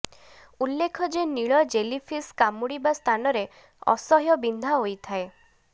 ଉଲ୍ଲେଖ ଯେ ନୀଳ ଜେଲିଫିସ୍ କାମୁଡ଼ିବା ସ୍ଥାନରେ ଅସହ୍ୟ ବିନ୍ଧା ହୋଇଥାଏ